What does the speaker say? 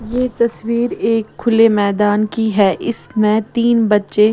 यह तस्वीर एक खुले मैदान की है इसमें तीन बच्चे--